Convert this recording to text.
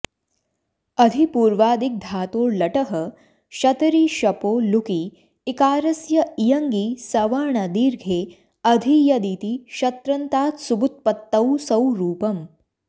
अधिपूर्वादिग्धातोर्लटः शतरि शपो लुकि इकारस्य इयङि सवर्णदीर्घे अधीयदिति शत्रन्तात्सुबुत्पत्तौ सौ रूपम्